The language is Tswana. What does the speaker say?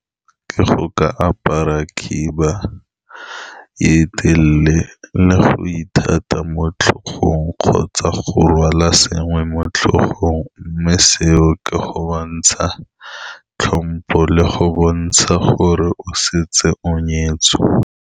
Ke go ka apara khiba e telele le go ithata mo tlhogong, kgotsa go rwala sengwe mo tlhogong. Mme seo ke go bontsha tlhompo le go bontsha gore o setse o nyetswe.